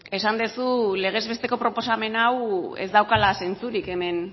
esan duzu legez besteko proposamen hau ez daukala zentzurik hemen